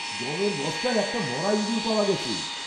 গমের বস্তায় একটা মরা ইঁদুর পাওয়া গেছে।